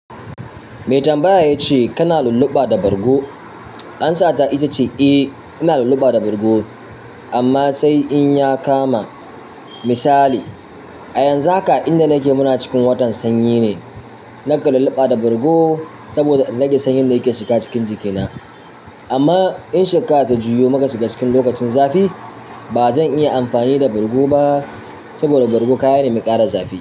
Me tambaya ya ce kana lulluɓa da bargo? Amsa ta ita ce eh, ina lulluɓa da bargo amma sai in ya kama. Misali a yanzu haka inda nake muna cikin watan sanyi ne. Nakan lulluɓa da bargo saboda in rage sanyin da yake shiga cikin jikina. Amma in shekara ta juyo muka shiga cikin lokacin zafi ba zan iya amfani da bargo ba, saboda bargo kaya ne mai ƙara zafi.